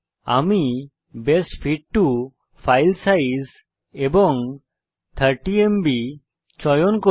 আমি best fit for file size এবং 30এমবি চয়ন করব